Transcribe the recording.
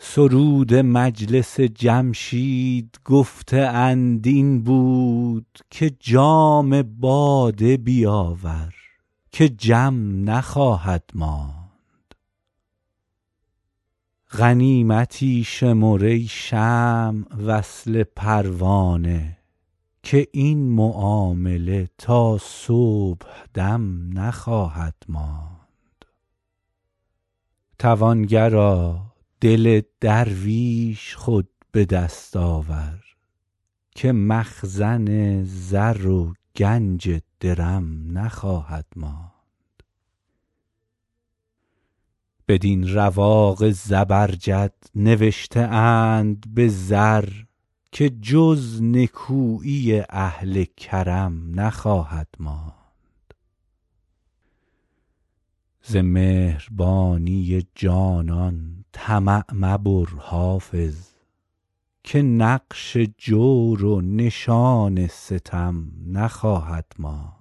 سرود مجلس جمشید گفته اند این بود که جام باده بیاور که جم نخواهد ماند غنیمتی شمر ای شمع وصل پروانه که این معامله تا صبح دم نخواهد ماند توانگرا دل درویش خود به دست آور که مخزن زر و گنج درم نخواهد ماند بدین رواق زبرجد نوشته اند به زر که جز نکویی اهل کرم نخواهد ماند ز مهربانی جانان طمع مبر حافظ که نقش جور و نشان ستم نخواهد ماند